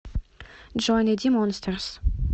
джой найди монстерс